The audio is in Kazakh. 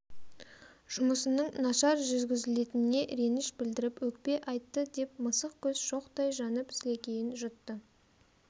жұмысының нашар жүргізілгеніне реніш білдіріп өкпе айтты деп мысық көз шоқтай жанып сілекейін жұтты